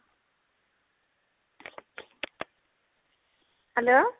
hello